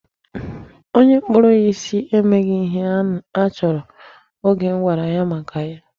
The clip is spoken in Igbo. Onye kpụrụ ya isi emeghị ihe anyị chọrọ oge m gwara ya maka ya.